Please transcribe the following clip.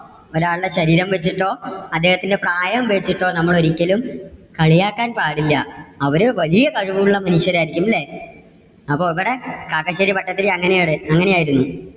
ഒരാളുടെ ശരീരം വെച്ചിട്ടോ അദ്ദേഹത്തിന്റെ പ്രായം വെച്ചിട്ടോ നമ്മള് ഒരിക്കലും കളിയാക്കാൻ പാടില്ല. അവര് വലിയ കഴിവുള്ള മനുഷ്യരായിരിക്കും അല്ലേ. അപ്പോ ഇവിടെ കാക്കശ്ശേരി ഭട്ടതിരി അങ്ങനെ ആണ്, അങ്ങനെയായിരുന്നു.